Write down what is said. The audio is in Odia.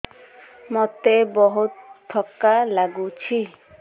ମୋତେ ବହୁତ୍ ଥକା ଲାଗୁଛି